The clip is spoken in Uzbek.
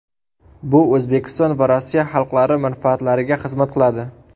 Bu O‘zbekiston va Rossiya xalqlari manfaatlariga xizmat qiladi.